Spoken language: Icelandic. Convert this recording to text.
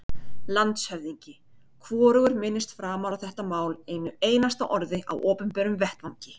LANDSHÖFÐINGI: Hvorugur minnist framar á þetta mál einu einasta orði á opinberum vettvangi.